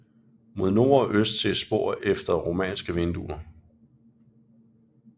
Mod nord og øst ses spor efter romanske vinduer